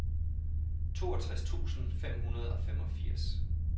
toogtres tusind fem hundrede og femogfirs